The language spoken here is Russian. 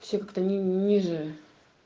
все как то нниже